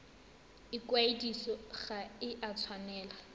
ikwadiso ga e a tshwanela